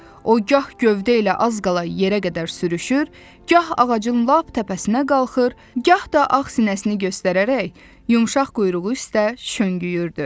O gah gövdə ilə az qala yerə qədər sürüşür, gah ağacın lap təpəsinə qalxır, gah da ağ sinəsini göstərərək yumşaq quyruğu üstə şöngüyürdü.